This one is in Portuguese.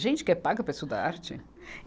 Gente que é paga para estudar arte?